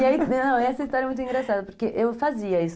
E aí Essa história é muito engraçada, porque eu fazia isso.